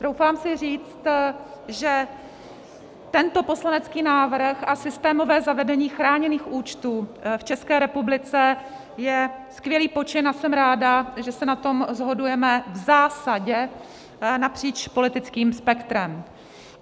Troufám si říct, že tento poslanecký návrh a systémové zavedení chráněných účtů v České republice je skvělý počin, a jsem ráda, že se na tom shodujeme v zásadě napříč politickým spektrem.